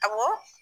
Awɔ